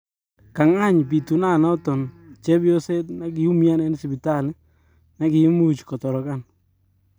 kangany pitunanaton chepyoseet nagi umian en sibitali negiimuch kotorogan